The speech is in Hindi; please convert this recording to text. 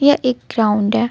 यह एक ग्राउंड है.